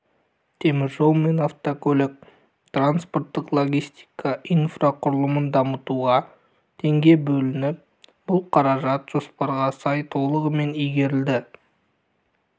теміржол мен автокөлік транспорттық логистика инфрақұрылымын дамытуға теңге бөлініп бұл қаражат жоспарға сай толығымен игерілді